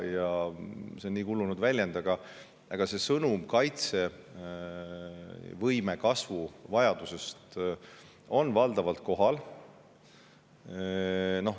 See on küll juba kulunud väljend, aga sõnum kaitsevõime kasvu vajadusest on valdavalt kohale jõudnud.